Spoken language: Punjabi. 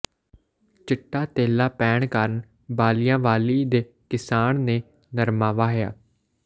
ਚਿੱਟਾ ਤੇਲਾ ਪੈਣ ਕਾਰਨ ਬਾਲਿਆਂਵਾਲੀ ਦੇ ਕਿਸਾਨ ਨੇ ਨਰਮਾ ਵਾਹਿਆ